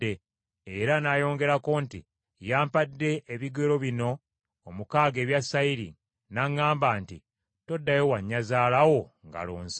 era n’ayongerako nti, “Yampadde ebigero bino omukaaga ebya sayiri, n’aŋŋamba nti, ‘Toddayo wa nnyazaala wo ngalo nsa.’ ”